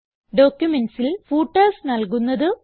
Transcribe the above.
ഡോക്യുമെന്റ്സിൽ ഫൂട്ടേർസ് നൽകുന്നത്